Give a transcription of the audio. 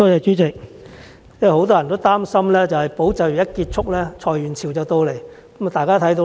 主席，很多人擔心"保就業"計劃一旦結束，裁員潮便出現。